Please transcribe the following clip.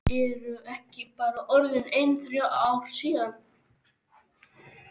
Eru ekki bara orðin ein þrjú ár síðan?